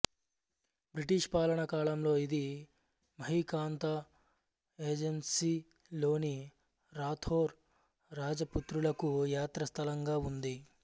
British పాలనా కాలంలో ఇది మహీకాంతా ఏజంసీ లోని రాథోర్ రాజపుత్రులకు యాత్రాస్థలంగా ఉంది